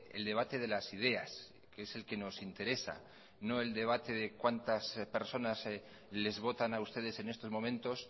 el debate de las ideas que es el que nos interesa no el debate de cuantas personas les votan a ustedes en estos momentos